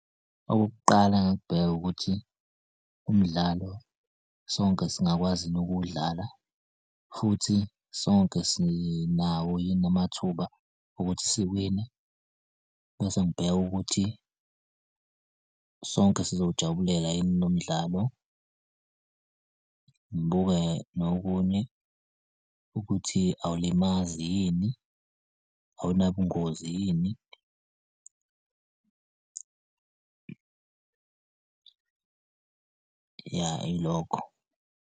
Okokuqala engingakubheka ukuthi umdlalo sonke singakwazi yini ukuwudlala? Futhi sonke sinawo yini amathuba okuthi siwine? Bese ngibheka ukuthi sonke sizowujabulela yini lo mdlalo. Ngibuke nokunye ukuthi awulimazi yini? Awunabungozi yini? Ya, ilokho.